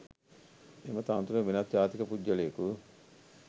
එම තනතුරට වෙනත් ජාතික පුද්ගලයෙකු